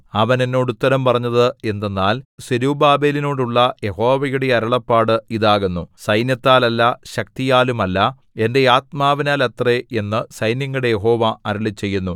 അവൻ എന്നോട് ഉത്തരം പറഞ്ഞത് എന്തെന്നാൽ സെരുബ്ബാബേലിനോടുള്ള യഹോവയുടെ അരുളപ്പാട് ഇതാകുന്നു സൈന്യത്താലല്ല ശക്തിയാലുമല്ല എന്റെ ആത്മാവിനാലത്രേ എന്നു സൈന്യങ്ങളുടെ യഹോവ അരുളിച്ചെയ്യുന്നു